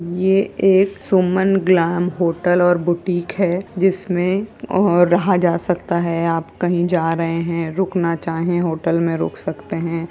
ये एक Suman glam hotel और बुटिक है। जिसमे और रहा जा सकता है। आप कहीं जा रहे हैं रुकना चाहे होटल में रुक सकते हैं।